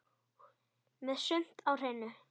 Með sumt á hreinu.